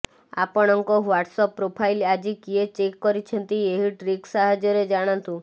ଆପଣଙ୍କ WhatsApp profile ଆଜି କିଏ ଚେକ୍ କରିଛନ୍ତି ଏହି ଟ୍ରିକ୍ ସାହାଯ୍ୟରେ ଜାଣନ୍ତୁ